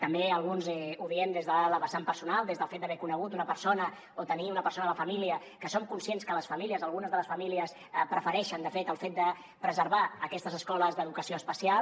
també alguns ho diem des de la vessant personal des del fet d’haver ne conegut una persona o tenir ne una persona a la família que som conscients que les famílies algunes de les famílies prefereixen de fet el fet de preservar aquestes escoles d’educació especial